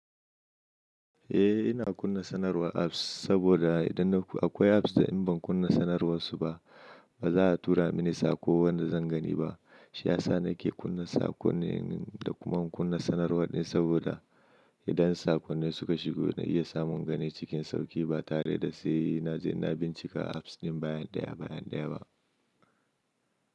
Eh ina kunna sanarwar apps saboda idan akwai apps da in ban kunna sanarwar su ba, ba za a tura mini saƙo wanda zan gani ba. Shi ya sa nake kunna sakonnin da kuma kunna sanarwarɗin saboda idan sakonnai suka shigo na iya samun gani cikin sauƙi ba tare da sai naje na bincika apps ɗin baya ɗaya baya ɗaya ba.